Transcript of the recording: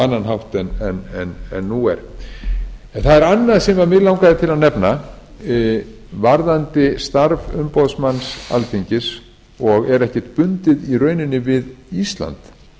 annan hátt en nú er það er annað sem mig langaði til að nefna varðandi starf umboðsmanns alþingis og er ekkert bundið í rauninni við ísland